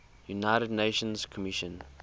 united nations commission